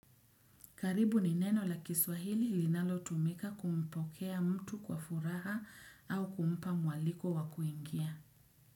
Karibu ni neno la kiswahili lilinalo tumika kumpokea mtu kwa furaha au kumpa mwaliko wa kuingia.